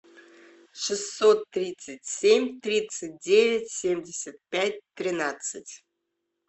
шестьсот тридцать семь тридцать девять семьдесят пять тринадцать